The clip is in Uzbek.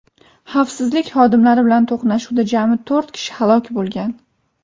Xavfsizlik xodimlari bilan to‘qnashuvda jami to‘rt kishi halok bo‘lgan.